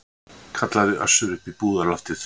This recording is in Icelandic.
kallaði Össur upp í búðarloftið.